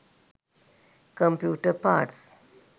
computer parts